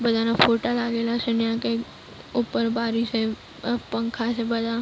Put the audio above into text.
બધાના ફોટા લાગેલા છે. અને આ કઈ ઉપર બારી છે અ પંખા છે બધા.